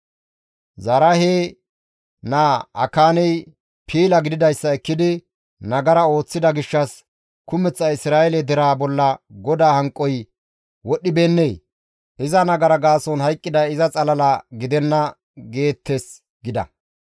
Zaraahe naa Akaaney piila gididayssa ekkidi, nagara ooththida gishshas, kumeththa Isra7eele deraa bolla GODAA hanqoy wodhdhibeennee? Iza nagara gaason hayqqiday iza xalala gidenna› geettes» gida.